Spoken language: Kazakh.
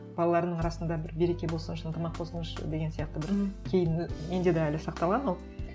балаларының арасында бір береке болсыншы ынтымақ болсыншы деген сияқты бір кейін і менде де әлі сақталған ол